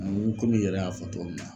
Ani kom'i yɛrɛ y'a fɔ cogo min na